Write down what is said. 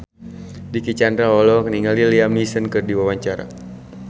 Dicky Chandra olohok ningali Liam Neeson keur diwawancara